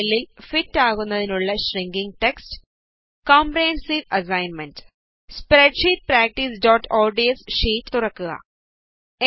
text സെല്ലില് fit ആകുന്നതിനുള്ള shrinking text comprehensive assignment open spreadsheet പ്രാക്ടീസ്ods ഷീറ്റ് തുറക്കുക